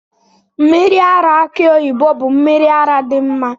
Mmiri ara aki oyibo bụ mmiri ara dị mma.